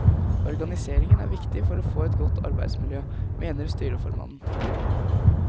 Organiseringen er viktig for å få et godt arbeidsmiljø, mener styreformannen.